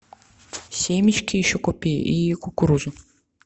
семечки еще купи и кукурузу